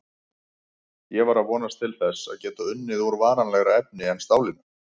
Ég var að vonast til þess að geta unnið úr varanlegra efni en stálinu.